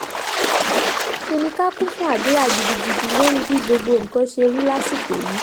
ṣe ni ká kún fún àdúrà gidigidi lórí bí gbogbo nǹkan ṣe rí lásìkò yìí